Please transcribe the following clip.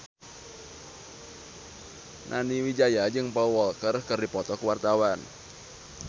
Nani Wijaya jeung Paul Walker keur dipoto ku wartawan